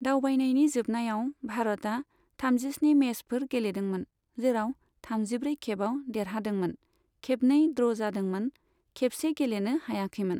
दावबायनायनि जोबनायाव, भारतआ थामजिस्नि मेचफोर गेलेदोंमोन, जेराव थामजिब्रै खेबाव देरहादोंमोन, खेबनै ड्र' जादोंमोन, खेबसे गेलेनो हायाखैमोन।